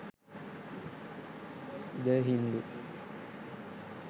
the hindu